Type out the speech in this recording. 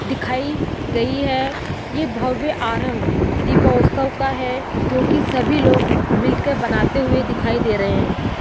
दिखाई गई है ये भव्य आरंभ दीपोत्सव का है जोकि सभी लोग मिलकर बनाते हुए दिखाई दे रहे हैं।